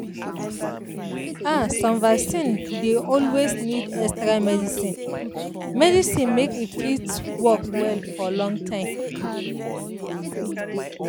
ah some vaccine dey always need extra medicine medicine make e fit work well for long time.